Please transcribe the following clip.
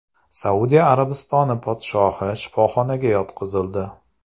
Saudiya Arabistoni podshohi shifoxonaga yotqizildi.